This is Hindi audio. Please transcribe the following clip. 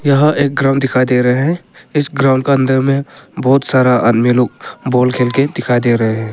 यह एक ग्राउंड बहुत सारा आदमी लोग बॉल खेल के दिखाई दे रहे हैं।